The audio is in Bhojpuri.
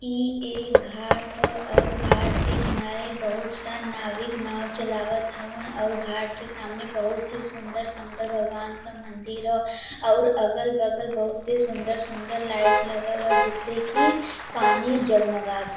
ई ए घाट ह और घाट के किनारे बहुत-सा नाविक नाव चलावत हउवन और घाट के सामने बहुत ही सुंदर शंकर भगवान क मंदिर ह अउर अगल-बगल बहुत ही सुंदर-सुंदर लाइट लगल ह जिससे कि पानी जगमगात --